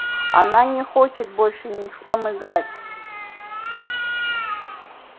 она не хочет больше ни с кем играть